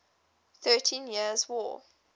thirteen years war